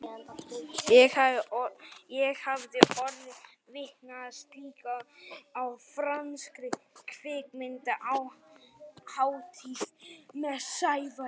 Ég hafði orðið vitni að slíku á franskri kvikmyndahátíð með Sævari árinu áður.